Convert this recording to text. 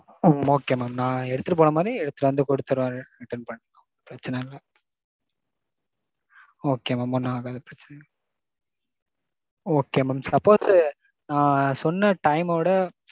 ம்ம் okay mam நான் எடுத்துட்டு போன மாதிரி எடுத்துட்டு கொண்டாந்து குடுத்திருவேன். பிரச்சனை இல்ல. okay mam நா எல்லாம் அது பிரச்சனை இல்ல. okay mam. suppose நான் சொன்ன time விட